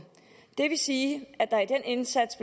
det vil sige at der i den indsats